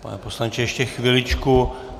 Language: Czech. Pane poslanče, ještě chviličku.